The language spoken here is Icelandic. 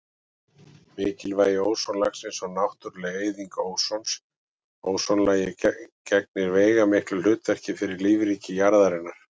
Mikilvægi ósonlagsins og náttúruleg eyðing ósons Ósonlagið gegnir veigamiklu hlutverki fyrir lífríki jarðarinnar.